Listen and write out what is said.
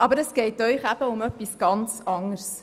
Aber es geht den Autoren um etwas anderes: